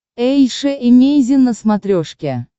эйша эмейзин на смотрешке